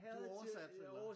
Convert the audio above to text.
Du oversatte eller